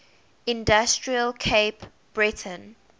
industrial cape breton